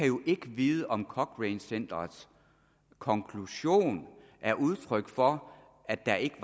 jo ikke kan vide om cochrane centerets konklusion er udtryk for at der ikke